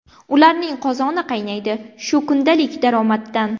Ularning qozoni qaynaydi shu kundalik daromaddan.